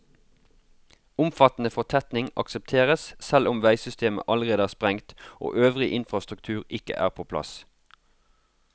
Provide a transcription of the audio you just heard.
Omfattende fortetning aksepteres selv om veisystemet allerede er sprengt og øvrig infrastruktur ikke er på plass.